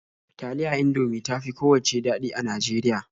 Taliya Indomie ta fi kowacce daɗi a Najeriya.